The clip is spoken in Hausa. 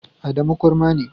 Adamu kurma ne.